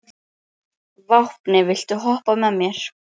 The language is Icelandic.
Hámundur, hvar er dótið mitt?